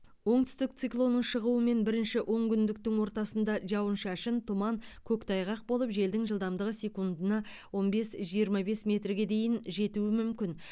оңтүстік циклонның шығуымен бірінші онкүндіктің ортасында жауын шашын тұман көктайғақ болып желдің жылдамдығы секундына он бес жиырма бес метрге дейін жетуі мүмкін